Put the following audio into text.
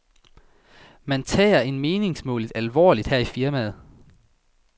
Man tager en meningsmåling alvorligt her i firmaet.